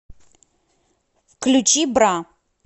включи бра